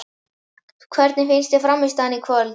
Hvernig fannst þér frammistaðan í kvöld?